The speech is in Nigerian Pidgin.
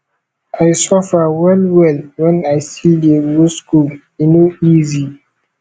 i suffer wellwell wen i still dey go skool e no easy